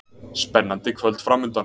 Spennandi kvöld framundan